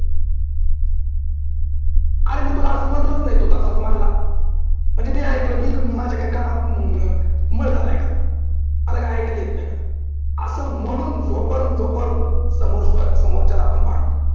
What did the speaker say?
अरे मी तुला अस म्हटलंच नाही तू जस म्हटला. म्हणजे मी ऐकल की इथं माझ्या का कानात मळ झालाय का? मला का ऐकायला येत नाही का? अस म्हणून समोरच्याला आपण भांडतो.